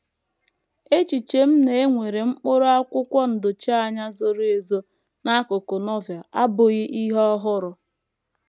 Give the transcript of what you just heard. Echiche na e nwere mkpụrụ akwụkwọ ndochianya zoro ezo n’akụkụ Novel abụghị ihe ọhụrụ.